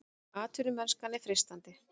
Atvinnumennskan er freistandi